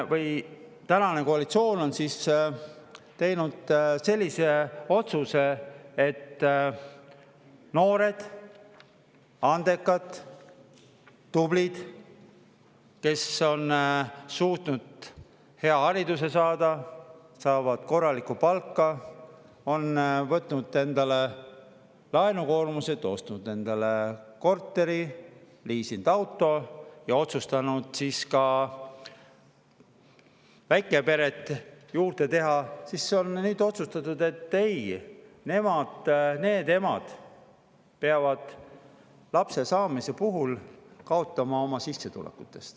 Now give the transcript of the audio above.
Tänane koalitsioon on teinud otsuse, et noored, andekad ja tublid emad, kes on suutnud hea hariduse saada, saavad korralikku palka, on võtnud endale laenukoormuse, ostnud endale korteri, liisinud auto ja otsustanud ka pere, peavad lapse saamise puhul kaotama oma sissetulekus.